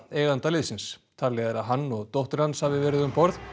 eiganda liðsins talið er að hann og dóttir hans hafi verið um borð